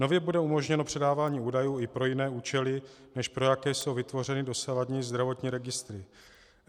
Nově bude umožněno předávání údajů i pro jiné účely, než pro jaké jsou vytvořeny dosavadní zdravotní registry.